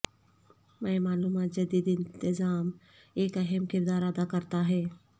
میں معلومات جدید انتظام ایک اہم کردار ادا کرتا ہے